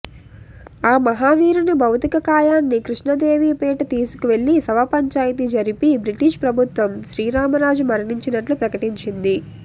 ఆ మహావీరుని భౌతిక కాయాన్ని కృష్ణదేవిపేట తీసుకువెళ్ళి శవ పంచాయితీ జరిపి బ్రిటీషు ప్రభుత్వం శ్రీరామరాజు మరణించినట్లు ప్రకటించింది